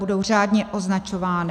Budou řádně označovány.